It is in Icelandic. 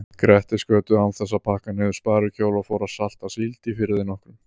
Grettisgötu án þess að pakka niður sparikjól og fór að salta síld í firði nokkrum.